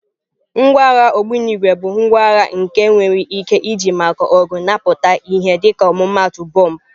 Ngwa agha ogbunigwe bụ ngwa agha nke enwere ike iji maka ọgụ na-apụtaghị ìhè dịka ọmụmaatụ bọmbụ.